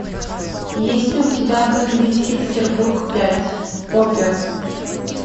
есть ли у тебя бандитский петербург пять опер